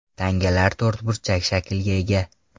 Tangalar to‘rtburchak shaklga ega.